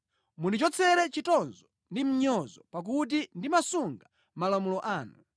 Mundichotsere chitonzo ndi mnyozo pakuti ndimasunga malamulo anu.